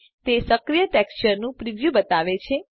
તે સક્રિય ટેક્સચર નું પ્રિવ્યુ બતાવે છે